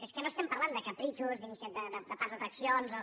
és que no parlem de capritxos de parcs d’atraccions o